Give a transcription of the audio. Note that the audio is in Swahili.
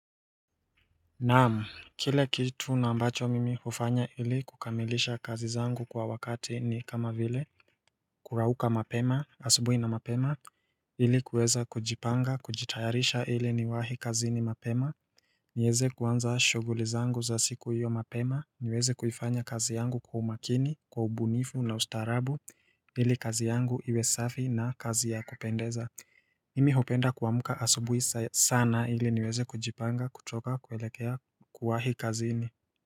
Naam, kile kitu na ambacho mimi hufanya ili kukamilisha kazi zangu kwa wakati ni kama vile Kurauka mapema, asubuhi na mapema ili kuweza kujipanga, kujitayarisha ili niwahi kazini mapema nieze kuanza shuguli zangu za siku iyo mapema, niweze kufanya kazi yangu kwa umakini, kwa ubunifu na ustaarabu ili kazi yangu iwe safi na kazi ya kupendeza Nimi hupenda kuamka asubuhi sana ili niweze kujipanga kutoka kuelekea kuwahi kazini.